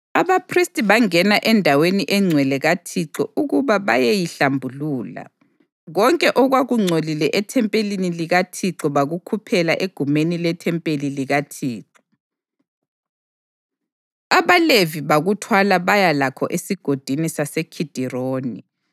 Abaphristi bangena endaweni engcwele kaThixo ukuba bayeyihlambulula. Konke okwakungcolile ethempelini likaThixo bakukhuphela egumeni lethempeli likaThixo. AbaLevi bakuthwala baya lakho eSigodini saseKhidironi.